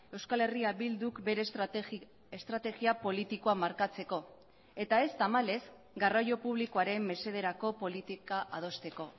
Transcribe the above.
euskal herria bilduk bere estrategia politikoa markatzeko eta ez tamalez garraio publikoaren mesederako politika adosteko